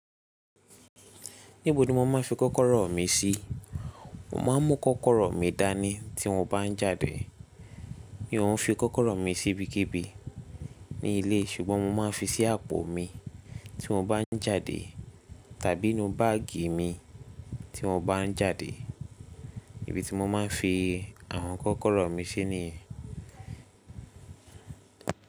Níbo ni mo máa fi kọ́kọ́rọ́ mi sí? Mo máa mú kọ́kọ́rọ́ mi dání tí mo bá ń jáde. Mi ò ń fi kọ́kọ́rọ́ mi sí ibikíbi ní ilé ṣùgbọ́n mo máa fi sí àpò mi tí mo bá ń jáde tàbí inú báàgì mi tí mo bá ń jáde. Ibí tí mo máa ń fi àwọn kọ́kọ́rọ́ mi sí niyen.